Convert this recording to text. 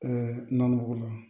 nan go la